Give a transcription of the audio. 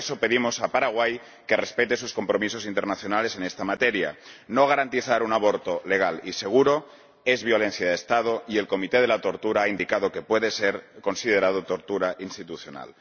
Y, por eso, pedimos a Paraguay que respete sus compromisos internacionales en esta materia no garantizar un aborto legal y seguro es violencia de Estado, y el Comité de la Tortura ha indicado que puede ser considerado tortura institucional.